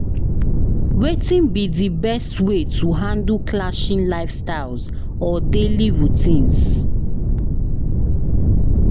Wetin be di best way to handle clashing lifestyles or daily routines?